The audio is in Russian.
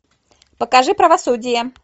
покажи правосудие